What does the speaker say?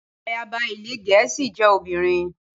Ayaba ilẹ̀ Gẹ̀ẹ́sì jẹ́ obìnrin.